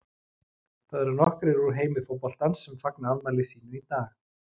Það eru nokkrir úr heimi fótboltans sem fagna afmæli sínu í dag.